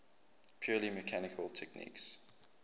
purely mechanical techniques